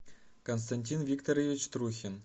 константин викторович трухин